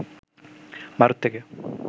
ভারত থেকে